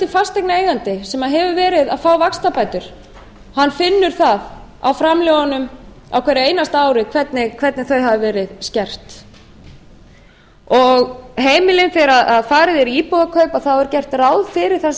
fasteignareigandi sem hefur verið að fá vaxtabætur hann finnur það á framlögunum á hverju einasta ári hvernig þau hafa verið skert þegar farið er í íbúðarkaup þá er gert ráð fyrir þessum